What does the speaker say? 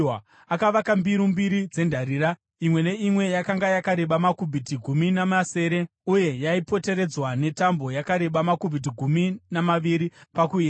Akavaka mbiru mbiri dzendarira, imwe neimwe yakanga yakareba makubhiti gumi namasere , uye yaipoteredzwa netambo yakareba makubhiti gumi namaviri pakuyera.